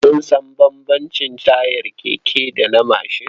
Kun san bambamcin tayar mashin da na keke?